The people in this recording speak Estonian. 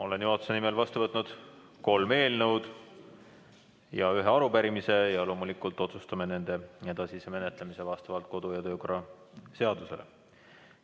Olen juhatuse nimel vastu võtnud kolm eelnõu ja ühe arupärimise ja loomulikult otsustame nende edasise menetlemise vastavalt kodu- ja töökorra seadusele.